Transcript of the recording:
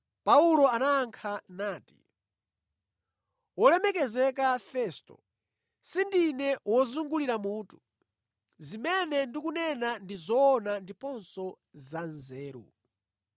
Paulo anayankha nati, “Wolemekezeka Festo, sindine wozungulira mutu. Zimene ndikunena ndi zoona ndiponso za nzeru.